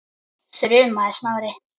þrumaði Smári.